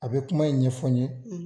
A bɛ kuma in ɲɛfɔ n ye,